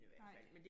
Nej